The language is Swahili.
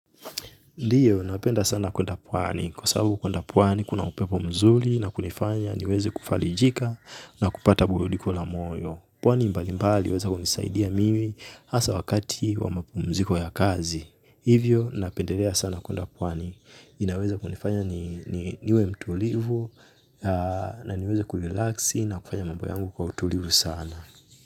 Ndiyo, napenda sana kwenda pwani. Kwa sababu kwenda pwani, kuna upepo mzuri na kunifanya niweze kufarijika na kupata burudiko la moyo. Pwani mbali mbali, huweza kunisaidia mimi hasa wakati wa mapumziko ya kazi. Hivyo, napendelea sana kwenda pwani. Inaweza kunifanya niwe mtulivu na niweze kulilaxi na kufanya mambo yangu kwa utulivu sana.